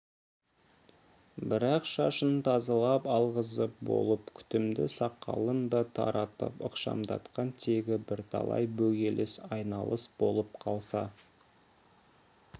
бірақ шашын тазалап алғызып болып күтімді сақалын да таратып ықшамдатқан тегі бірталай бөгеліс айналыс болып қалса